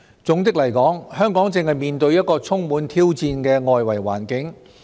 總的來說，香港正面對一個充滿挑戰的外圍環境。